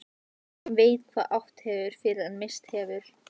Enginn veit hvað átt hefur fyrr en misst hefur.